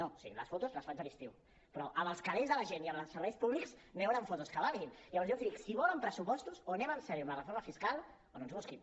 o sigui les fotos les faig a l’estiu però amb els calers de la gent i amb els serveis públics no hi hauran fotos que valguin llavors jo els dic si volen pressupostos o anem seriosament amb la reforma fiscal o no ens busquin